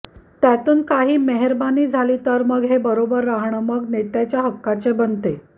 त्यातून काही मेह्बानी झाली तर मग हे बरोबर राहणं मग नेत्याच्या हक्काचे बनते